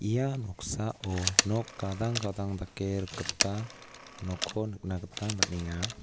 ia noksao nok gadang gadang dake rikgipa nokko nikna gita man·enga.